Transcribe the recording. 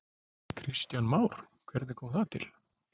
Kristján Már: Hvernig kom það til?